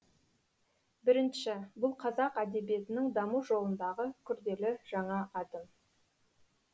бірінші бұл қазақ әдебиетінің даму жолындағы күрделі жаңа адым